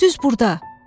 düz burda.